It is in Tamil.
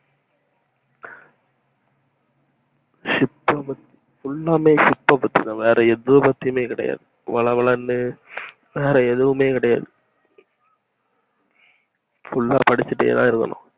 ship full லாமே ship அ பத்திதா வேற எத பத்தயுமே கிடையாது வள வலன்னு வேற எதுமே கிடையாது full லா படிச்சிட்டேதா இருக்கணும்